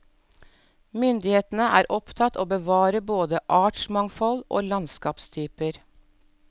Myndighetene er opptatt av å bevare både artsmangfold og landskapstyper.